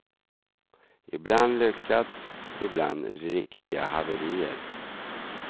Ibland lyckat, ibland riktiga haverier.